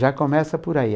Já começa por aí.